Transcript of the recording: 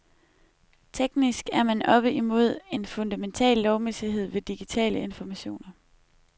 Teknisk er man oppe imod en fundamental lovmæssighed ved digitale informationer.